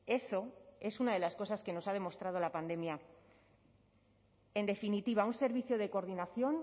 eso es una de las cosas que nos ha demostrado la pandemia en definitiva un servicio de coordinación